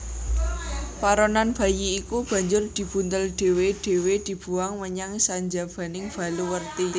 Paronan bayi iku banjur dibuntel dhéwé dhéwé dibuwang menyang sanjabaning baluwerti